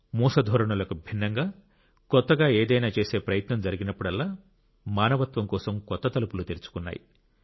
మూస ధోరణులకు భిన్నంగా కొత్తగా ఏదైనా చేసే ప్రయత్నం జరిగినప్పుడల్లా మానవత్వం కోసం కొత్త తలుపులు తెరుచుకున్నాయి